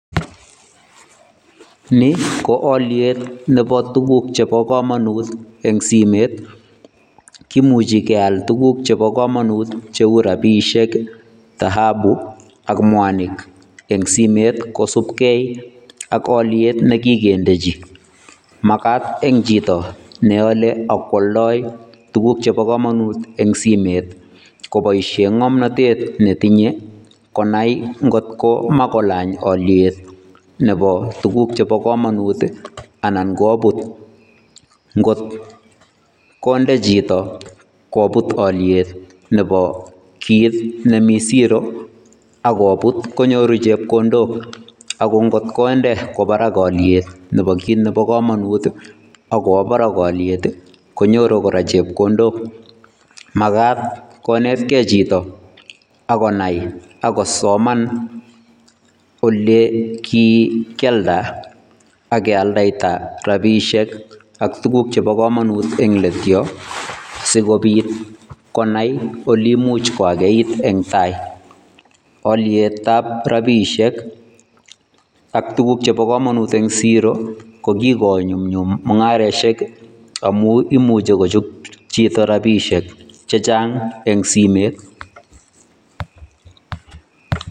Ni ko olyeet nebo tukuk jebo komonuut en simeet kimuji keal tukuk jebo komonuut jeu rapisheek taabu AK mwaniik en simeet kosubkei AK olyeet nekikendeji makaat en jito neole ok kwoldoi tukuk jebo komonuut en simeet kiboisien ngomnotet metinye konai ngotinye makolany oliet nebo tukuk jebo komonuut ii anan kobut ngot konde jito kobut olyeet nebo kiit nemie zero akobuut konyoru jepkondook okotkondee kwobaraak olyet nebo kinebo komonuut ii okowo baraka olyet ii konyoruu koraak chepkondok ok makaat konetkee jito akonai akosoman ole kiikialda AK kialdaitai rapisheek ok tukuk jebo komonuut en let yoo sikobiit konai ole ibiit koikeit en ndayoon olyeet ab rapisheek ok tukuk jebo komonuut en ziiro kokigonyumnyum mungarosiek omuun imuji kojob jito rabishek jejaang en simeet